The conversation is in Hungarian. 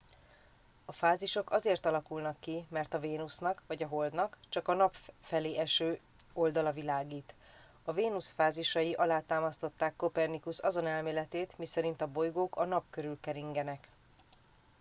a fázisok azért alakulnak ki mert a vénusznak vagy a holdnak csak a nap felé eső oldala világít. a vénusz fázisai alátámasztották kopernikusz azon elméletét miszerint a bolygók a nap körül keringenek